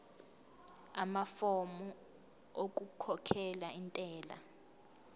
amafomu okukhokhela intela